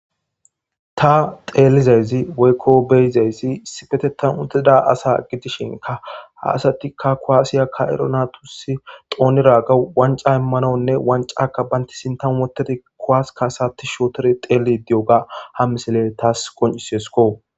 ta teelizayzi woykko beyizaysi sipetetan otida asa gidishinka ha asatikka koaasiyaka7ero natusi xooniraga wanca immanonne wancaka banti sintan wotedi koaaska asati shootori xeeli di7oga ha misile taas qoncisesko